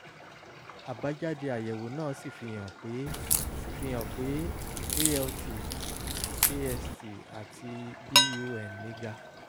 àbájáde àyẹ̀wò náà sì fihàn pé sì fihàn pé alt ast àti bun mí ga